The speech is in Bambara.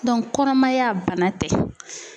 kɔnɔmaya bana tɛ.